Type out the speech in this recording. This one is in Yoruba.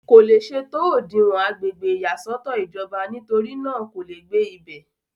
kò le ṣe tó òdinwọ̀n agbègbè ìyàsọ́tọ̀ ìjọba nítorí náà kò le gbé ibẹ̀